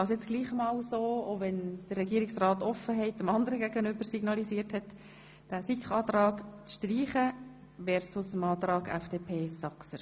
Es geht um die Streichung gemäss dem Antrag SiK-Mehrheit versus den Antrag FDP Saxer.